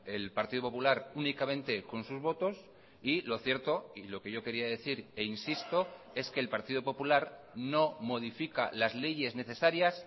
el partido popular únicamente con sus votos y lo cierto y lo que yo quería decir e insisto es que el partido popular no modifica las leyes necesarias